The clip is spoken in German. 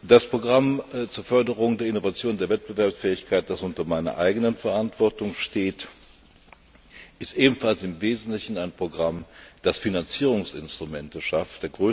Das Programm zur Förderung der Innovation und der Wettbewerbsfähigkeit, das unter meiner Verantwortung steht, ist ebenfalls im Wesentlichen ein Programm, das Finanzierungsinstrumente schafft.